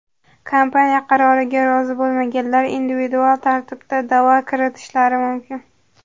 Kompaniya qaroriga rozi bo‘lmaganlar individual tartibda da’vo kiritishlari mumkin .